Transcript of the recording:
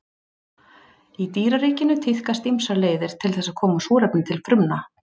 Í dýraríkinu tíðkast ýmsar leiðir til þess að koma súrefni til frumna.